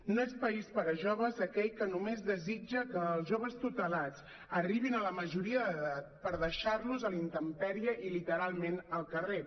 no és país per a joves aquell que només desitja que els joves tutelats arribin a la majoria d’edat per deixar los a la intempèrie i literalment al carrer